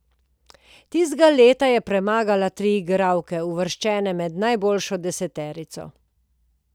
Tistega leta je premagala tri igralke, uvrščene med najboljšo deseterico.